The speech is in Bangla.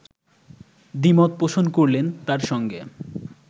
দ্বিমত পোষণ করলেন তার সঙ্গে